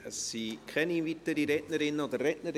Es gibt keine weiteren Rednerinnen und Redner.